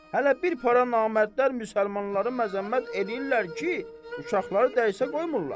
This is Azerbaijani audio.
Hələ bir para namərdlər müsəlmanları məzəmmət eləyirlər ki, uşaqları dərsə qoymurlar.